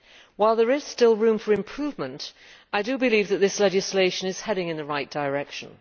While there is still room for improvement, I believe that this legislation is heading in the right direction.